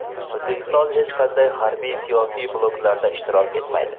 O‘zbekiston hech qanday harbiy-siyosiy bloklarda ishtirok etmaydi.